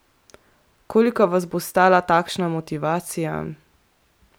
Koliko vas bo stala takšna motivacija?